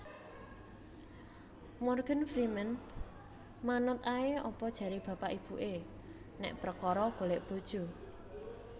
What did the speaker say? Morgan Freeman manut ae apa jare bapak ibu e nek perkoro golek bojo